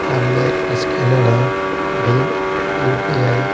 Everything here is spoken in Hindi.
सामने एक स्कैनर है भीम यूपीआई --